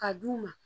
Ka d'u ma